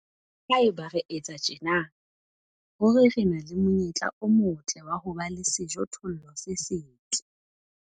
Haeba re etsa tjena, ruri re na le monyetla o motle wa ho ba le sejothollo se setle.